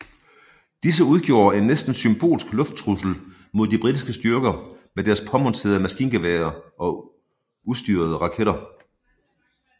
Disse udgjorde en næsten symbolsk lufttrussel mod de britiske styrker med deres påmonterede maskingeværer og ustyrede raketter